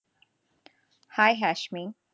hi, Hashmi